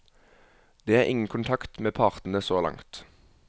Det er ingen kontakt med partene så langt.